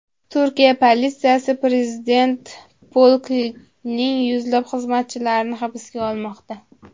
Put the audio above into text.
Turkiya politsiyasi prezident polkining yuzlab xizmatchilarini hibsga olmoqda.